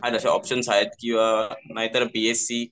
आहेत तसे ऑप्शन्स आहेत नाहीतर बी एस सी